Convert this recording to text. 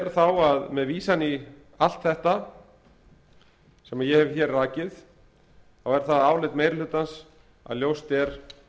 þá að með vísan í allt þetta sem ég hef hér rakið þá er það áliti meiri hlutans að ljóst er